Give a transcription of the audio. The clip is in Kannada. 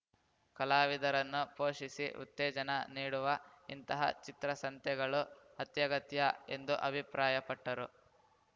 ಕಲಾವಿದರನ್ನು ಪೋಷಿಸಿ ಉತ್ತೇಜನ ನೀಡುವ ಇಂತಹ ಚಿತ್ರಸಂತೆಗಳು ಅತ್ಯಗತ್ಯ ಎಂದು ಅಭಿಪ್ರಾಯಪಟ್ಟರು